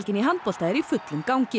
í handbolta er í fullum gangi